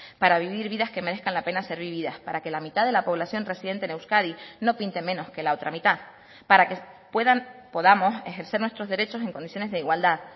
para vivir vidas que merezcan la pena ser vividas para que la mitad de la población residente en euskadi no pinte menos que la otra mitad para que puedan podamos ejercer nuestros derechos en condiciones de igualdad